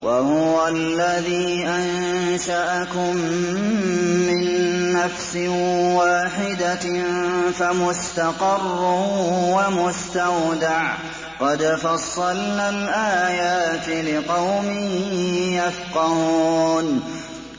وَهُوَ الَّذِي أَنشَأَكُم مِّن نَّفْسٍ وَاحِدَةٍ فَمُسْتَقَرٌّ وَمُسْتَوْدَعٌ ۗ قَدْ فَصَّلْنَا الْآيَاتِ لِقَوْمٍ يَفْقَهُونَ